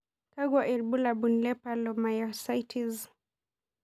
Kakwa ibulabul le polymyositis?